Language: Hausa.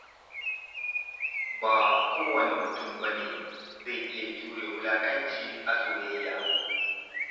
Ba kowane mutum ba ne zai iya jure wulaƙanci a soyayya.